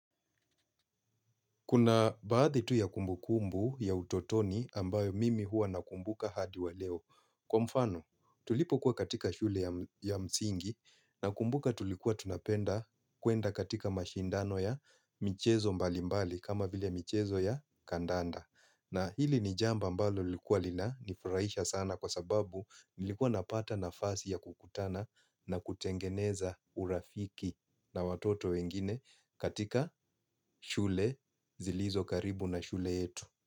Kuna baadhi tu ya kumbukumbu ya utotoni ambayo mimi huwa nakumbuka hadi wa leo. Kwa mfano, tulipo kuwa katika shule ya msingi nakumbuka tulikuwa tunapenda kuenda katika mashindano ya michezo mbalimbali kama vile michezo ya kandanda. Na hili ni jambo ambalo likuwa lina nifurahisha sana kwa sababu nilikuwa napata nafasi ya kukutana na kutengeneza urafiki na watoto wengine katika shule zilizo karibu na shule yetu.